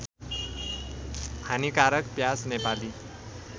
हानिकारक प्याज नेपाली